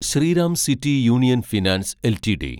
Shriram city union finance LTD